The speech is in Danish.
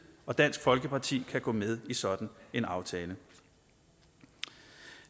og dansk folkeparti kan gå med i sådan en aftale